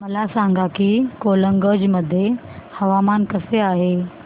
मला सांगा की गोलकगंज मध्ये हवामान कसे आहे